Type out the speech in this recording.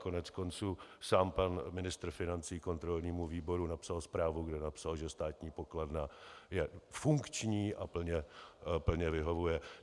Koneckonců sám pan ministr financí kontrolnímu výboru napsal zprávu, kde napsal, že státní pokladna je funkční a plně vyhovuje.